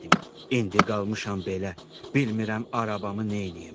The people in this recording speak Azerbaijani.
İndi qalmışam belə, bilmirəm arabamı neyniyim.